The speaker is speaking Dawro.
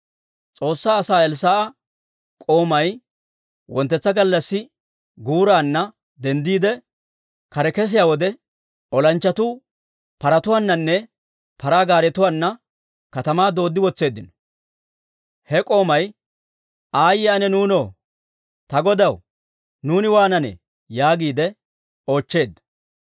S'oossaa asaa Elssaa'a k'oomay wonttetsa gallassi guuraanna denddiide, kare kesiyaa wode, olanchchatuu paratuwaananne paraa gaaretuwaana katamaa dooddi wotseeddino. He k'oomay, «Aayye ana nuunoo! Ta godaw, nuuni waananee?» yaagiide oochcheedda.